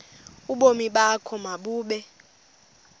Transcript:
ubomi bakho mabube